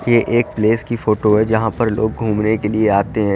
ये एक प्लेस की फोटो है जहां पर लोग घूमने के लिए आते है।